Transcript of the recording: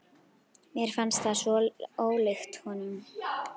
Mér fannst það svo ólíkt honum.